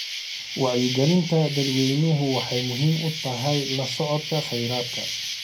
Wacyigelinta dadweynuhu waxay muhiim u tahay la socodka kheyraadka.